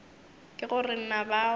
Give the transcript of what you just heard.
ke go re na bao